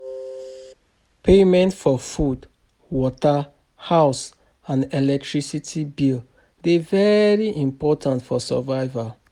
Payment for food, water, house and electricity dey very important for survival